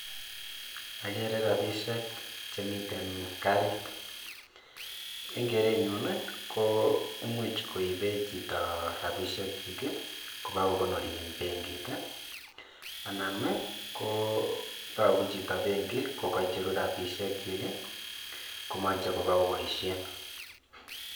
Okere rabisiek chemiten karit en kerenyuun ii koimuch koibe chito rabisiekyi ii kobakokonori en benkit ii anan koo yobu chito benki kokocheru rabisiekyi ii komoche koboo koboisien.